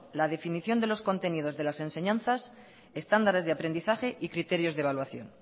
la definición de los contenidos de las enseñanzas estándares de aprendizaje y criterios de evaluación